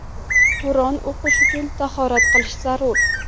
Qur’on o‘qish uchun tahorat qilish zarur.